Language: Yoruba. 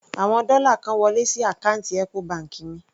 Àwọn dọ́là kan wọlé sí àkáǹtì Ecobank mi.